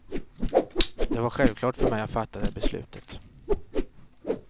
Det var självklart för mig att fatta det beslutet.